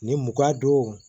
Ni mugan don